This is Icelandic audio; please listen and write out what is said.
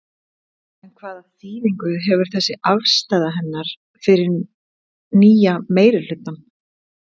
En hvaða þýðingu hefur þessi afstaða hennar fyrir nýja meirihlutann?